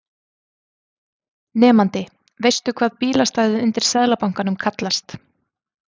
Nemandi: Veistu hvað bílastæðið undir Seðlabankanum kallast?